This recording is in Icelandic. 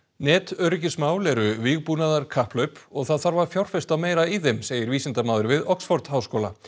netöryggismál eru vígbúnaðarkapphlaup og það þarf að fjárfesta meira í þeim segir vísindamaður við Oxford háskóla